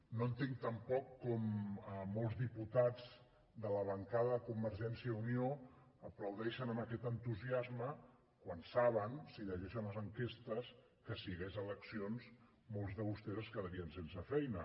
no entenc tampoc com molts diputats de la bancada de convergència i unió aplaudeixen amb aquest entusiasme quan saben si llegeixen les enquestes que si hi hagués eleccions molts de vostès es quedarien sense feina